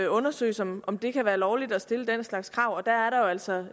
undersøges om om det kan være lovligt at stille den slags krav der er der jo altså